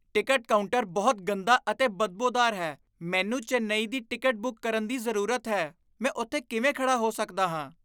Ticket counter ਬਹੁਤ ਗੰਦਾ ਅਤੇ ਬਦਬੋਦਾਰ ਹੈ। ਮੈਨੂੰ ਚੇਨੱਈ ਦੀ ਟਿਕਟ ਬੁੱਕ ਕਰਨ ਦੀ ਜ਼ਰੂਰਤ ਹੈ, ਮੈਂ ਉੱਥੇ ਕਿਵੇਂ ਖੜ੍ਹਾ ਹੋ ਸਕਦਾ ਹਾਂ?